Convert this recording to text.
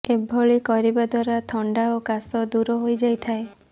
ଏଭଳି କରିବା ଦ୍ୱାରା ଥଣ୍ଡା ଓ କାଶ ଦୂର ହୋଇଯାଇଥାଏ